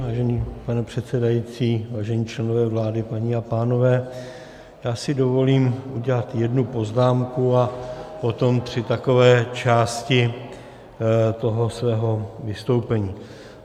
Vážený pane předsedající, vážení členové vlády, paní a pánové, já si dovolím udělat jednu poznámku a potom tři takové části toho svého vystoupení.